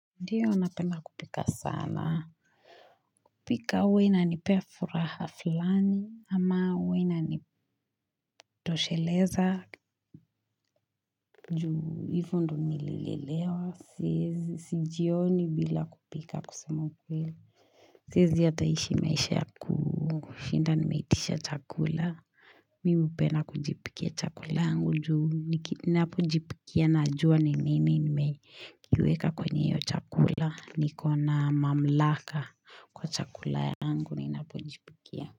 Ndiyo napenda kupika sana kupika huwa inanipea furaha fulani ama huwa ina tosheleza juu hivo ndio nilelelewa Siezi sijioni bila kupika kusema ukweli Siezi hata ishi maisha ya ku kushinda nimeitisha chakula Mimi hupenda kujipikia chakula yangu juu niki nihapojipikia najua ni ninii nimeiweka kwenye hiyo chakula niko na mamlaka kwa chakula yangu ninapojipikia.